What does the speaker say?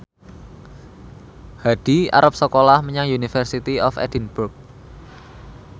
Hadi arep sekolah menyang University of Edinburgh